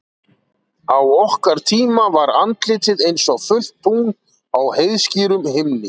Á okkar tíma var andlitið einsog fullt tungl á heiðskírum himni.